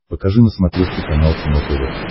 покажи на смотрешке канал кино тв